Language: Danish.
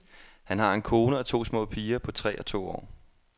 Han har en kone og to små piger på tre og to år.